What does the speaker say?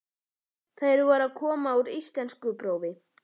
Þær voru að koma úr íslenskuprófi.